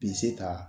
Bi se ka